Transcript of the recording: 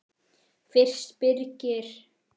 Fyrst Birgir